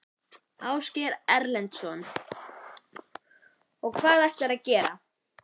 Ásgeir Erlendsson: Og hvað ætlar þú að gera?